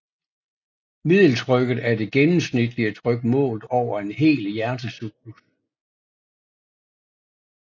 Middeltrykket er det gennemsnitlige tryk målt over en hel hjertecyklus